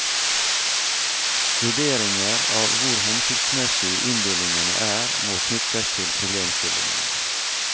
Vurderinger av hvor hensiktsmessig inndelingene er, må knyttes til problemstillingen.